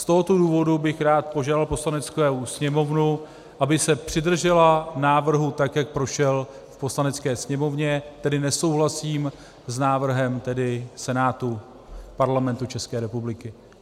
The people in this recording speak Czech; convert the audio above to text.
Z tohoto důvodu bych rád požádal Poslaneckou sněmovnu, aby se přidržela návrhu tak, jak prošel v Poslanecké sněmovně, tedy nesouhlasím s návrhem Senátu Parlamentu České republiky.